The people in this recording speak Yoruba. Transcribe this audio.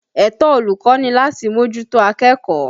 Ẹ̀tọ́ olùkọ́ ni láti mójútó akẹ́kọ̀ọ́.